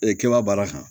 Ee kɛba baara kan